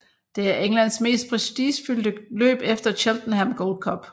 Det er Englands mest prestigefyldte løb efter Cheltenham Gold Cup